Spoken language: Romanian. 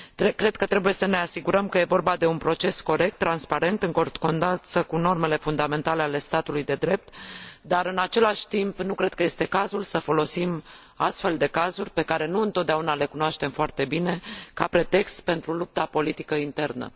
Cred că trebuie să ne asigurăm că e vorba de un proces corect, transparent, în concordanță cu normele fundamentale ale statului de drept, dar, în același timp, nu cred că este cazul să folosim astfel de cazuri, pe care nu întotdeauna le cunoaștem foarte bine, ca pretext pentru lupta politică internă.